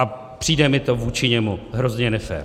A přijde mi to vůči němu hrozně nefér.